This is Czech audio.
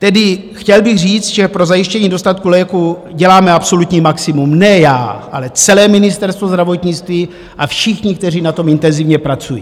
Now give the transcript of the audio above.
Tedy chtěl bych říct, že pro zajištění dostatku léků děláme absolutní maximum, ne já, ale celé Ministerstvo zdravotnictví a všichni, kteří na tom intenzivně pracují.